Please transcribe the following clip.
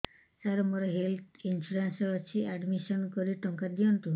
ସାର ମୋର health insurance ଅଛି admission କରି ଟଙ୍କା ଦିଅନ୍ତୁ